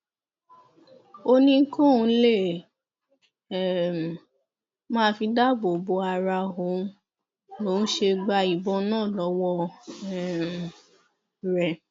ó ní kóun lè um máa fi dáàbò bo ara òun lòún ṣe gba ìbọn náà lọwọ um rẹ